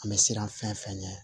An bɛ siran fɛn fɛn ɲɛ